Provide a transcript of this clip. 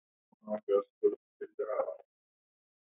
Voru þetta þessar mikilvægu upplýsingar?